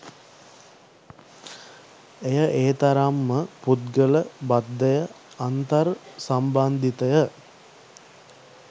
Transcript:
එය එතරම්ම පුද්ගල බද්ධය අන්තර් සම්බන්ධිතය